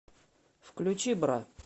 включи бра